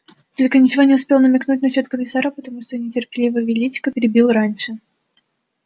только ничего не успел намекнуть насчёт комиссара потому что нетерпеливый величко перебил раньше